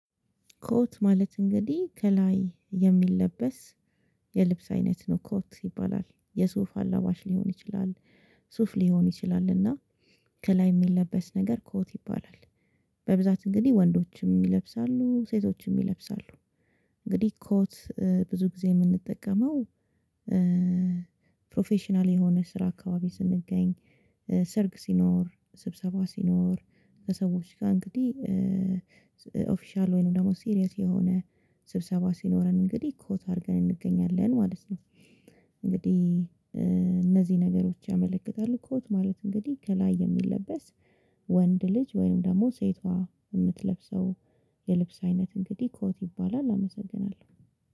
ኮት ማለት እንግዲህ ከላይ የሚለበስ የልብስ አይነት ነው ኮት ይባላል የሱፍ አላባሽ ሊሆን ይችላል ሱፍ ሊሆን ይችላልና ከላይ ሚለበስ ነገር ኮት ይባላል። በብዛት እንግዲህ ወንዶችም ይለብሳሉ ሴቶችም ይለብሳሉ። እንግዲህ ኮት ብዙ ጊዜ የምንጠቀመው ፕሮፌሽናል የሆነ ስራ አካባቢ ስንገኝ ሰርግ ሲኖር ስብሰባ ሲኖር ለሰዎች ጋር እንግዲህ ኦፊሻል ወይንም ደግሞ ሲሪየስ የሆነ ስብሰባ ሲኖረን እንግዲህ ኮት አድርገን እንገኛለን ማለት ነው። እንግዲህ ነገሮች ያመለክታሉ ኮት ማለት እንግዲህ ከላይ የሚለበስ ወንድ ልጅ ወይም ደግሞ ሴቷ የምትለብሰው የልብስ አይነት እንግዲህ ኮት ይባላል። አመሰግናለሁ